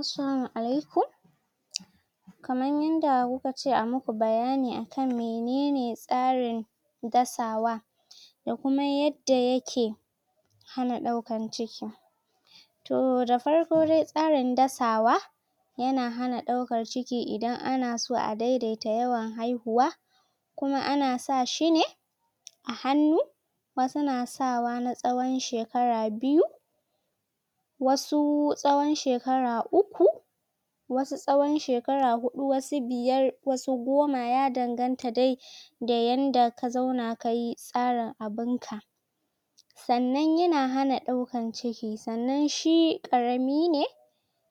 Assalamu alaikum kaman yanda kuka ce a muku bayani akan menene tsarin dasawa da kuma yadda yake hana daukan ciki toh da farko dai tsarin dasawa yana hana daukan ciki idan anso a daidaita yawan haihuwa kuma ana sa shi ne a hannu wasu na sawa na tsawon shekara biyu wasu tsawon shekara uku wasu tsawon shekara hudu wasu biyar wasu goma ya danganta dai da yanda ka zauna kayi tsarin abunka sannan yana hana daukan ciki sannan shi karami ne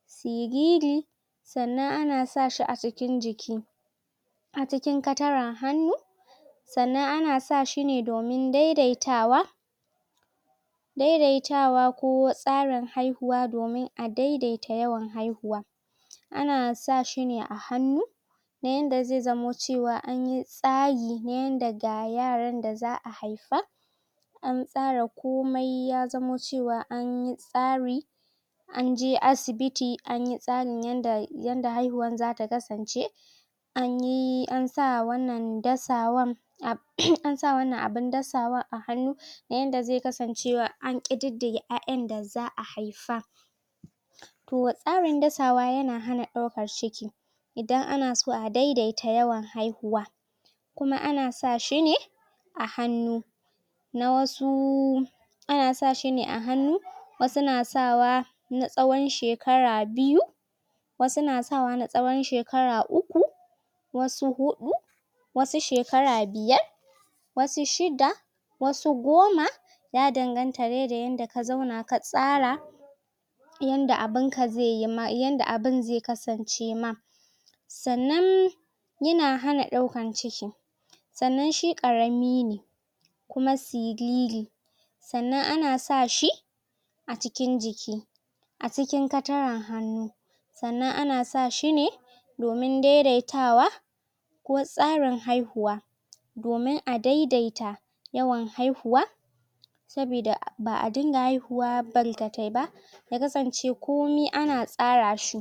siriri sannan ana sa shi a cikin jiki a cikin kataran hannu sannan ana sa shi domin daidaitawa daidaitawa ko tsarin haihuwa domin a daidaita yawan haihuwa ana sa shi ne a hannu na yanda zai zamo cewa anyi tsari na yanda ga yaran da za'a haifa an tsara komai ya zamo cewa anyi tsari anje asibiti anyi tsarin yanda haihuwan zata kasance anyi an sa wannan dasawan um an sa wannan abin dasawan a hannu ta yanda zai kasancewa an kiɗiɗiga 'ya'yan da za'a haifa toh tsarin dasawa yana hana daukan ciki idan anaso a daiadita yawan haihuwa kuma ana sa shi ne a hannu na wasu ana sa shine a hannu wasu na sa wa na tsawon shekara biyu wasu na sa wa na tsawon shekara uku wasu huɗu wasu shekara biyar wasu shiɗa wasu goma ya danganta da yanda ka zauna ka tsara yanda abunka zaiyi yanda abun zai kasance ma sannan yana hana daukan ciki sannan shi karami ne kuma siriri sannan ana sa shi a cikin jiki a cikin kataran hannu sannan ana sa shine domin daidaitawa ko tsarin haihuwa domin a daidaita yawan haihuwa sabida ba'a dinga haihuwa bankatai ba ya kasance komi ana tsara shi